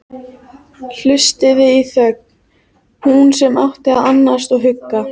Hlustaði í þögn, hún sem átti að annast og hugga.